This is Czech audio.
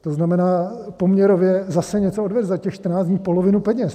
To znamená, poměrově zase něco odvede, za těch 14 dní polovinu peněz.